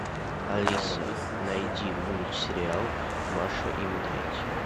алиса найди мультсериал маша и медведь